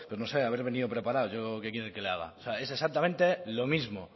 no sé haber venido preparados yo qué quiere que le haga o sea es exactamente lo mismo